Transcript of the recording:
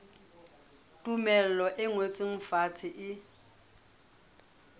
tumello e ngotsweng fatshe e